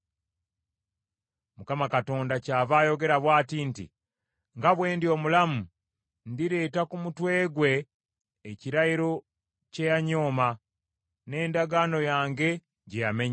“‘ Mukama Katonda kyava ayogera bw’ati nti, Nga bwe ndi omulamu, ndireeta ku mutwe gwe ekirayiro kye yanyooma, n’endagaano yange gye yamenya.